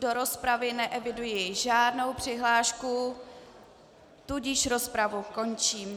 Do rozpravy neeviduji žádnou přihlášku, tudíž rozpravu končím.